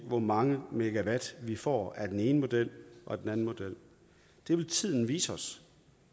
hvor mange megawatt vi får af den ene model og den anden model det vil tiden vise os